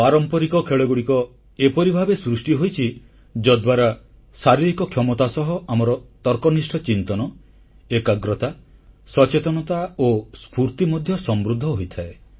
ପାରମ୍ପରିକ ଖେଳଗୁଡ଼ିକ ଏପରି ଭାବେ ସୃଷ୍ଟି ହୋଇଛି ଯଦ୍ୱାରା ଶାରୀରିକ କ୍ଷମତା ସହ ଆମର ତର୍କନିଷ୍ଠ ଚିନ୍ତନ ଏକାଗ୍ରତା ସଚେତନତା ଓ ସ୍ଫୁର୍ତ୍ତି ମଧ୍ୟ ସମୃଦ୍ଧ ହୋଇଥାଏ